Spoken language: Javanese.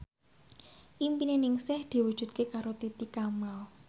impine Ningsih diwujudke karo Titi Kamal